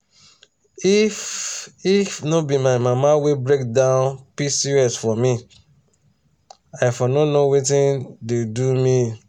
if if no be my mama wey break down pcos for me i for no know wetin dey do me.